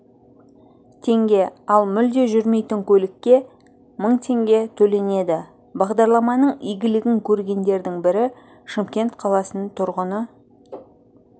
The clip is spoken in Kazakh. теңге ал мүлде жүрмейтін көлікке мың теңге төленеді бағдарламаның игілігін көргендердің бірі шымкен қаласының тұрғыны